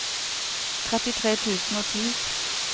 trettitre tusen og ti